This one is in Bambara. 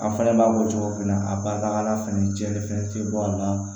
An fana b'a fɔ cogo min na a barikala fɛnɛ cɛnni fɛn tɛ bɔ a la